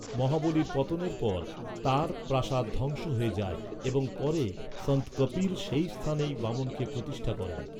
মহাবলীর পতনের পর, তাঁর প্রাসাদ ধ্বংস হয়ে যায় এবং পরে সন্ত কপিল সেই স্থানেই বামনকে প্রতিষ্ঠা করেন।